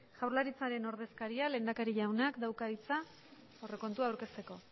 jaurlaritzaren ordezkariak lehendakari jaunak dauka hitza aurrekontua aurkezteko